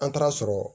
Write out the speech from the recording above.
An taara sɔrɔ